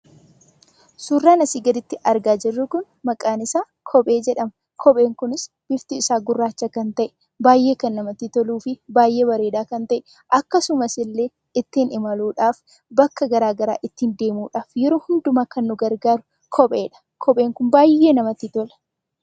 Suuraan asii gaditti argaa jirru kun maqaan isaa kophee jedhama. Kopheen kunis bifti isaa gurraacha kan ta'e baay'ee kan namatti toluu fi bareedaa kan ta'e akkasumas illee ittiin imaluudhaaf bakka garaagaraa ittiin deemuudhaaf yeroo hundumaa kan nu gargaaru kopheedha. Kopheen kun baay'ee namatti tola.